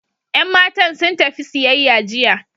Yan matan sun tafi siyayya jiya.